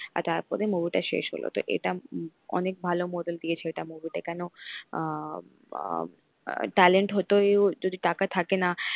তার পরে movie টা শেষ হলো তো এটা উম অনেক ভালো moral দিয়েছে এটা movie তে কেন আহ talent হতেও যদি টাকা থাকে না।